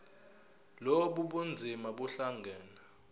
lobu bunzima buhlangane